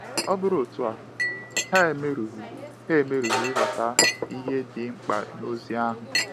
Ọ bụrụ otu a, ha emerughị ha emerughị ịghọta ihe dị mkpa n’ozi ahụ.